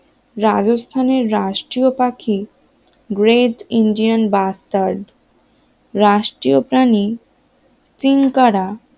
রাজস্থানের রাষ্ট্রীয় পাখি গ্রেট ইন্ডিয়ান বাস্টার্ড রাষ্ট্রীয় প্রাণী চিনকারা